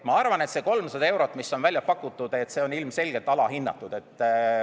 Ma arvan, et see 300 eurot, mis on välja pakutud, on ilmselgelt alahinnatud.